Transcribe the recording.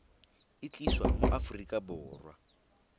e tliswa mo aforika borwa